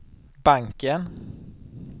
banken